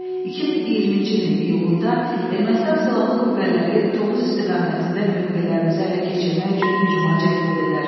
2020-ci ilin iyulunda Ermənistan Silahlı Qüvvələri Tovuz istiqamətində mövqelərimizi ələ keçirmək üçün hücuma cəhd edirlər.